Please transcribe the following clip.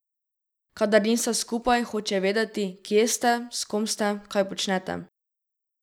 Kadar nista skupaj, hoče vedeti, kje ste, s kom ste, kaj počnete.